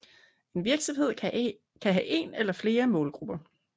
En virksomhed kan have en eller flere målgrupper